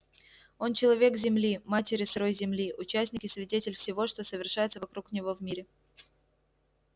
он человек земли матери сырой земли участник и свидетель всего что совершается вокруг него в мире